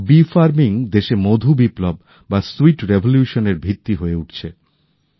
মৌমাছি পালন দেশে মধু বিপ্লব বা সুইট রিভলিউশনের ভিত্তি হয়ে উঠছে